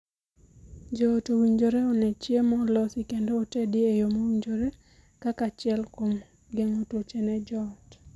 Joot owinjore onee ni chiemo olosi kendo otedi e yoo mowinjore kaka achiel kuom geng'o tuoche ne joot.